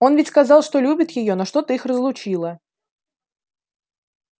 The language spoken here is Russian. он ведь сказал что любит её но что-то их разлучило